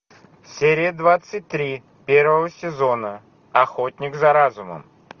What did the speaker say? серия двадцать три первого сезона охотник за разумом